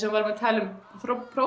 við vorum að tala um